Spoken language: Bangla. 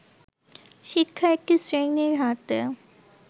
শিক্ষা একটি শ্রেণীর হাতে